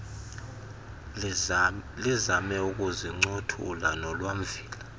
lizame ukusincothula nolwamvila